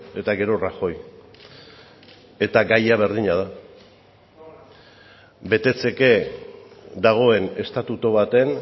eta gero rajoy eta gaia berdina da betetzeke dagoen estatutu baten